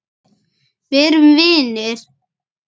Verum vinir.